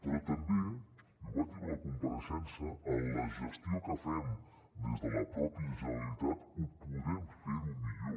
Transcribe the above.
però també i ho vaig dir a la compareixença en la gestió que fem des de la pròpia generalitat ho podem fer millor